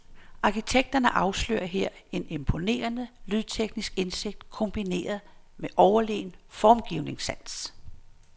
Arkitekterne afslører her en imponerende lysteknisk indsigt kombineret med overlegen formgivningssans.